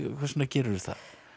hvers vegna gerirðu það